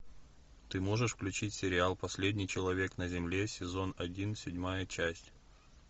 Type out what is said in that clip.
ты можешь включить сериал последний человек на земле сезон один седьмая часть